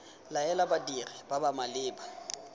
laela badiri ba ba maleba